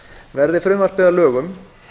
verði frumvarpið að lögum